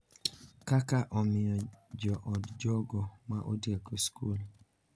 Kaka omiyo jood jogo ma otieko skul,